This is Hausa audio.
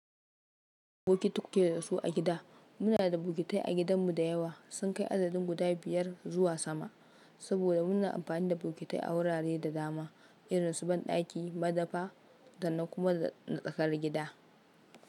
Bukiti kuke da su a gida. Muna da bukitai a gidanmu da yawa. Sun kai adadin guda biyar zuwa sama. Saboda mun yi amfani da bukitai a wurare da dama, irin su banɗaki, madafa da nan kuma da tsakar gida.